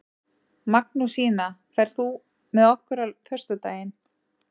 Magnúsína, ferð þú með okkur á föstudaginn?